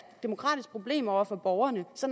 demokratisk problem over for borgerne så